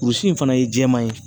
Kurusi in fana ye jɛman ye